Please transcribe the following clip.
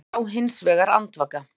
Thomas lá hins vegar andvaka.